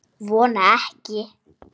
Vona ekki.